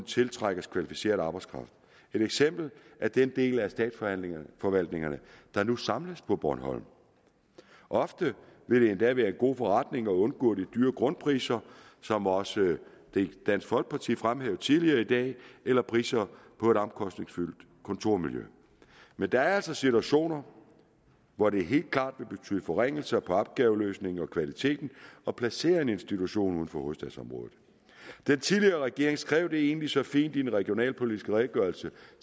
tiltrækkes kvalificeret arbejdskraft et eksempel er den del af statsforvaltningerne der nu samles på bornholm ofte vil det endda være en god forretning at undgå de dyre grundpriser som også dansk folkeparti fremhævede tidligere i dag eller priserne for et omkostningsfuldt kontormiljø men der er altså situationer hvor det helt klart vil betyde en forringelse i opgaveløsningen og kvaliteten at placere en institution uden for hovedstadsområdet den tidligere regering skrev det egentlig så fint i regionalpolitisk redegørelse